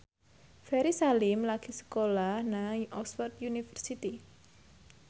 Ferry Salim lagi sekolah nang Oxford university